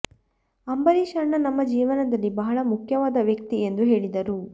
ಅಂಬರೀಶ್ ಅಣ್ಣ ನಮ್ಮ ಜೀವನದಲ್ಲಿ ಬಹಳ ಮುಖ್ಯವಾದ ವ್ಯಕ್ತಿ ಎಂದು ಹೇಳಿದರು